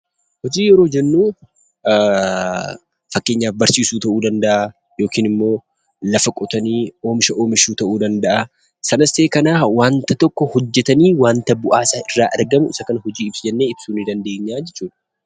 Hojii yeroo jennuu, fakkeenyaaf barsiisuu ta'uu danda'a yookiin immoo lafa qotanii oomisha oomishuu ta'uu danda'a. sanas ta'e kana wanta tokko hojjetanii bu'aa isa irraa argamu isa kana hojii jennee ibsuu dandeenya jechuudha.